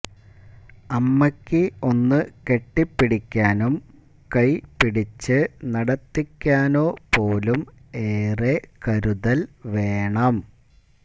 അമ്മയ്ക്ക് ഒന്നു കെട്ടിപ്പിടിക്കാനും കൈപിടിച്ച് നടത്തിക്കാനോ പോലും ഏറെ കരുതൽ വേണം